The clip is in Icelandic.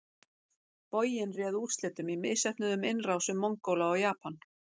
Boginn réði úrslitum í misheppnuðum innrásum Mongóla í Japan.